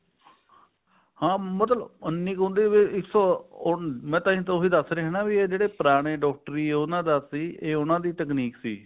ਹਾਂ ਤਲਬ ਉੰਨੀ ਮਤਲਬ ਕੇ ਇੱਕ ਸੋ ਮੈਂ ਉਹੀ ਦੱਸ ਰਿਹਾ ਹਨਾ ਵੀ ਜਿਹੜੇ ਪੁਰਾਣੇ doctor ਨੇ ਉਹਨਾ ਦਾ ਸੀ ਇਹ ਉਹਨਾ ਦੀ ਤਕਨੀਕ ਸੀ